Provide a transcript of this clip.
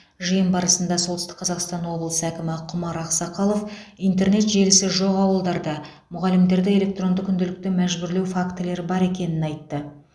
жиын барысында солтүстік қазақстан облысы әкімі құмар ақсақалов интернет желісі жоқ ауылдарда мұғалімдерді электронды күнделікті мәжбүрлеу фактілері бар екенін айтты